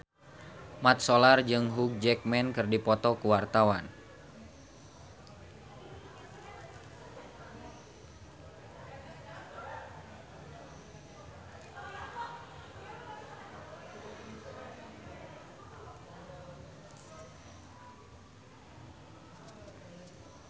Mat Solar jeung Hugh Jackman keur dipoto ku wartawan